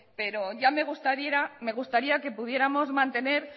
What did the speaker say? pero ya me gustaría que pudiéramos mantener